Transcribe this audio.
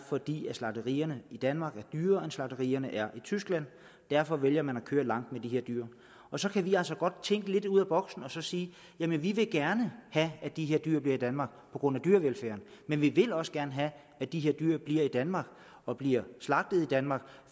fordi slagterierne i danmark er dyrere end slagterierne er i tyskland derfor vælger man at køre langt med de her dyr så kan vi altså godt tænke lidt ud af boksen og sige jamen vi vil gerne have at de her dyr bliver i danmark på grund af dyrevelfærden men vi vil også gerne have at de her dyr bliver i danmark og bliver slagtet i danmark